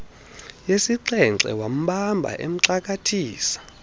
yesixhenxe wambamba emxakathisa